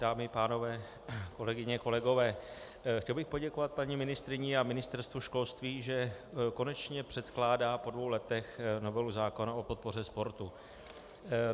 Dámy, pánové, kolegyně, kolegové, chtěl bych poděkovat paní ministryni a Ministerstvu školství, že konečně předkládá po dvou letech novelu zákona o podpoře sportu.